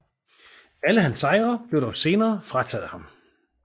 Alle hans sejre blev dog senere frataget ham